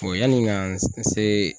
yanni ka n se.